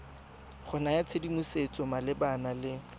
go naya tshedimosetso malebana le